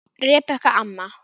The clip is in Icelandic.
Rebekka amma.